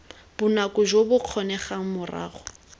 bonako jo bo kgonegang morago